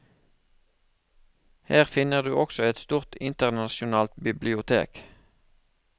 Her finner du også et stort, internasjonalt bibliotek.